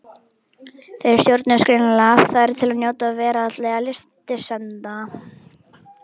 Þeir stjórnuðust greinilega af þörf til að njóta veraldlegra lystisemda.